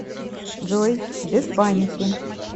джой без паники